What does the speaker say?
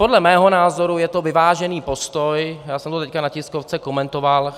Podle mého názoru je to vyvážený postoj, já jsem ho teď na tiskovce komentoval.